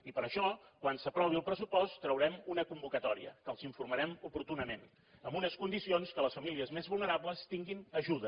i per això quan s’aprovi el pressupost traurem una convocatòria que els n’informarem oportunament amb unes condicions que les famílies més vulnerables tinguin ajuda